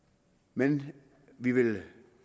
men vi vil